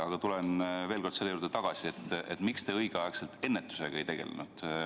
Aga tulen veel kord tagasi selle juurde, miks te õigel ajal ennetusega ei tegelenud.